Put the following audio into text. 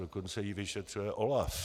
Dokonce ji vyšetřuje OLAF.